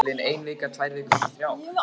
Er liðin ein vika, tvær vikur, þrjár?